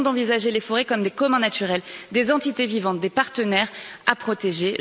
Il est temps d'envisager les forêts comme des communs naturels, des entités vivantes, des partenaires à protéger.